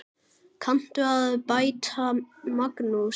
Kanntu að bæta, Magnús?